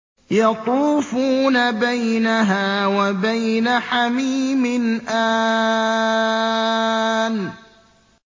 يَطُوفُونَ بَيْنَهَا وَبَيْنَ حَمِيمٍ آنٍ